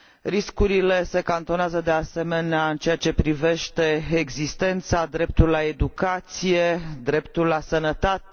Riscurile se cantonează de asemenea în ceea ce privește existența, dreptul la educație, dreptul la sănătate.